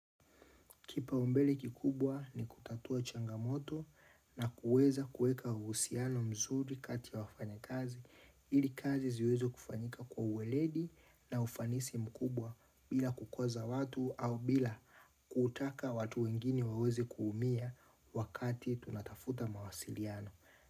Kipaumbele kikubwa ni kutatua changamoto na kuweza kueka uhusiano mzuri kati ya wafanya kazi. Ili kazi ziweze kufanyika kwa uweledi na ufanisi mkubwa bila kukwaza watu au bila kutaka watu wengine waweze kuumia wakati tunatafuta mawasiliano.